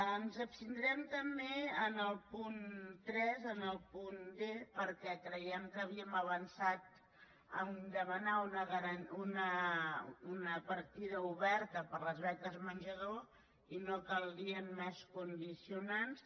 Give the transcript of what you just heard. ens abstindrem també en el punt tres en el punt d perquè creiem que havíem avançat en demanar una partida oberta per a les beques menjador i no caldrien més condicionants